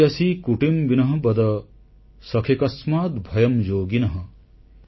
ଏତେ ଯସ୍ୟ କୁଟିମ୍ବିନଃ ବଦ ସଖେ କସ୍ମାଦ୍ ଭୟଂ ଯୋଗିନଃ